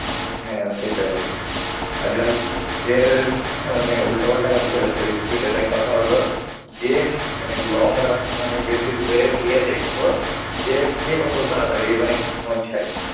হ্যাঁ সেটাই। আজ রাজ~ কেছ~ মানে উল্টাপাল্টা গাড়ি চালায়ছিল speed এ তাই কথা হলো যে হা~ মানে long রাস্তা মানে বেশি দূরে গিয়ে দেখব যে কে কত তাড়াতাড়ি মানে পৌছায়।